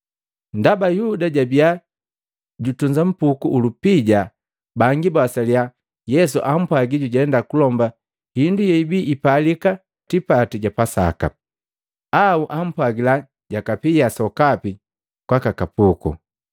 Ndaba Yuda jabiya jutunza mpuku ulupija, bangi bawasalia Yesu ampwagila jujenda kulomba hindu yebiipalika tipati ja Pasaka, au ampwagila jwakapia sokapi kwaka kapuku.